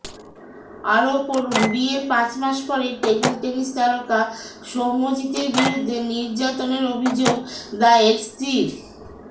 আরও পড়ুন বিয়ের পাঁচ মাস পরেই টেবিল টেনিস তারকা সৌম্যজিতের বিরুদ্ধে নির্যাতনের অভিযোগ দায়ের স্ত্রীর